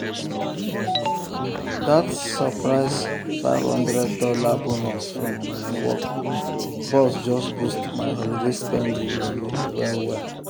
that surprise five hundred dollars bonus from my work boss just boost my holiday spending money well well.